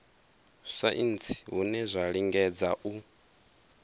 saintsi hune zwa lingedza u